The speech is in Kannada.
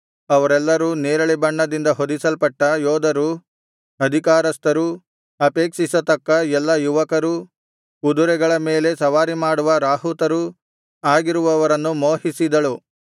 ಅವರೆಲ್ಲರೂ ನೇರಳೆ ಬಣ್ಣದಿಂದ ಹೊದಿಸಲ್ಪಟ್ಟ ಯೋಧರೂ ಅಧಿಕಾರಸ್ಥರೂ ಅಪೇಕ್ಷಿಸತಕ್ಕ ಎಲ್ಲಾ ಯುವಕರೂ ಕುದರೆಗಳ ಮೇಲೆ ಸವಾರಿಮಾಡುವ ರಾಹುತರೂ ಆಗಿರುವವರನ್ನು ಮೋಹಿಸಿದಳು